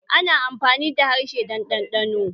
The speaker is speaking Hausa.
Ana amfani da harshe don ɗanɗano